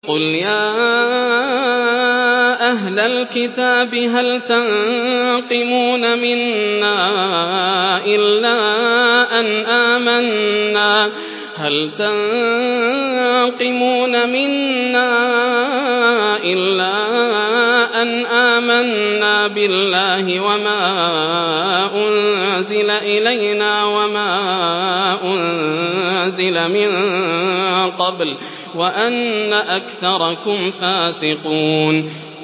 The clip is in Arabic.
قُلْ يَا أَهْلَ الْكِتَابِ هَلْ تَنقِمُونَ مِنَّا إِلَّا أَنْ آمَنَّا بِاللَّهِ وَمَا أُنزِلَ إِلَيْنَا وَمَا أُنزِلَ مِن قَبْلُ وَأَنَّ أَكْثَرَكُمْ فَاسِقُونَ